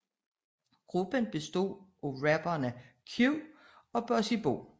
Gruppen bestod af rapperne Q og Bossy Bo